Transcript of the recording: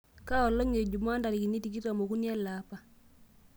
kaa olong' ejuma ntarikini tikitam okuni eleapa